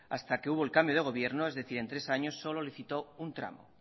hasta que hubo el cambio de gobierno es decir en tres años solo licitó un tramo